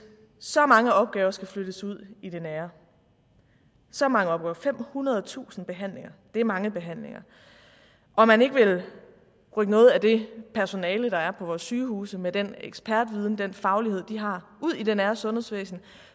så mange opgaver skal flyttes ud i det nære så mange opgaver femhundredetusind behandlinger det er mange behandlinger og man ikke vil rykke noget af det personale der er på vores sygehuse med den ekspertviden den faglighed de har ud i det nære sundhedsvæsen